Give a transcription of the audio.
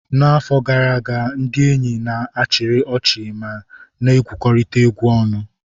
N'afọ gara aga, ndị enyi ha chịrị ọchị ma na egwukọrita egwu ọnụ.